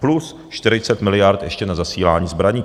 Plus 40 miliard ještě na zasílání zbraní.